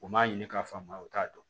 U m'a ɲini k'a faamuya u t'a dɔn